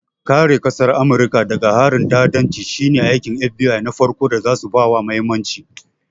Kare ƙasar Amurika daga harin ta'addanci shine aikin FBI na farko da zasu bawa mahimmanci.